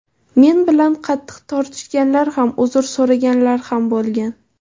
Men bilan qattiq tortishganlar ham, uzr so‘raganlar ham bo‘lgan.